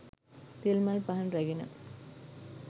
තෙල් මල් පහන් රැගෙන